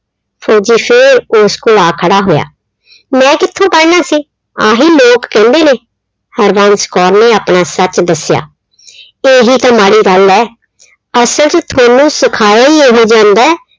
ਫੌਜੀ ਫਿਰ ਉਸ ਕੋਲ ਆ ਖੜਾ ਹੋਇਆ। ਮੈਂ ਕਿੱਥੋਂ ਪੜਨਾ ਸੀ? ਆਹੀ ਲੋਕ ਕਹਿੰਦੇ ਨੇ, ਹਰਬੰਸ ਕੌਰ ਨੇ ਆਪਣਾ ਸੱਚ ਦੱਸਿਆ। ਇਹੀ ਤਾਂ ਮਾੜੀ ਗੱਲ ਏ। ਅਸਲ ਚ ਥੋਨੂੰ ਸਿਖਾਇਆ ਹੀ ਇਹੋ ਜਾਂਦਾ